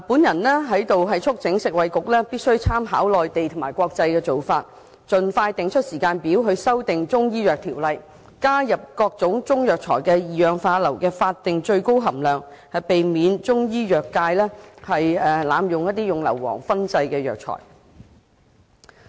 我在此促請食物及衞生局參考內地及國際做法，盡快設定修訂《中醫藥條例》的時間表，加入各種中藥材的二氧化硫的法定最高含量，避免中醫藥界濫用硫磺燻製藥材。